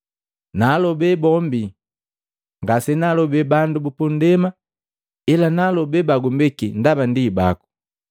“Naalobe bombi. Ngasenaalobe bandu bupundema ila naalobee bagumbeki, ndaba ndi baku.